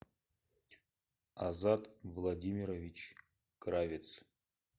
азат владимирович кравец